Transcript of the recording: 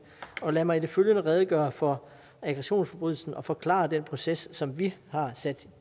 lad mig i det følgende redegøre for aggressionsforbrydelsen og forklare den proces som vi har sat